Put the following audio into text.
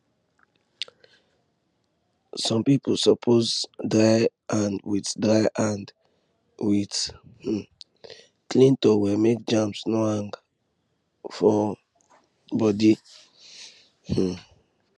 sick people suppose dry hand with dry hand with um clean towel make germs no hang for body um